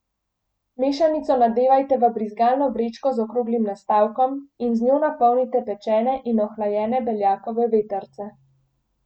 Mešanico nadevajte v brizgalno vrečko z okroglim nastavkom in z njo napolnite pečene in ohlajene beljakove vetrce.